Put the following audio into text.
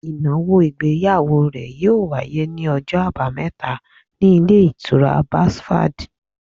Ìnáwó ìgbéyàwó rẹ̀ yíò wáyé ní ọjọ́ àbámẹ́ta ní Ilé Ìtura Basfad